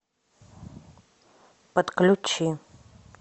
подключи